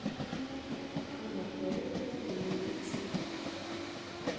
анатолию андреевичу